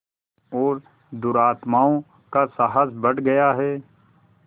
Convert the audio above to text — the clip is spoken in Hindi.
और दुरात्माओं का साहस बढ़ गया है